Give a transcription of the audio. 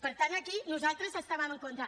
per tant aquí nosaltres hi estàvem en contra